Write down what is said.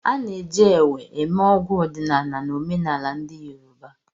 A na-eji Ewe eme ọgwụ ọdịnala na omenala ndị yoruba.